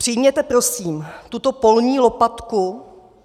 Přijměte prosím tuto polní lopatku.